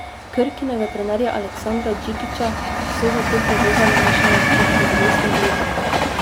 Krkinega trenerja Aleksandra Džikića so zato prevevali mešani občutki: 'Bili smo blizu.